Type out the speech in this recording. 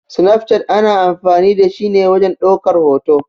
Snaf chat ana amfani da shi ne wajen ɗaukar hoto.